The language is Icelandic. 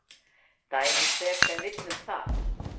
Dæmi hver sem vill um það.